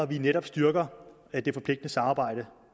vi netop styrker det forpligtende samarbejde